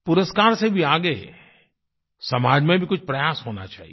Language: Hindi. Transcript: पुरस्कार से भी आगे समाज में भी कुछ प्रयास होना चाहिए